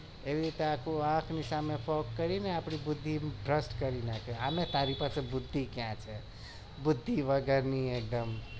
એવી રીતે બુધિ ભ્રષ્ટ કરી નાખે આમે તારી પાસે બુધિ કયા છે બુધિ વગરની એકદમ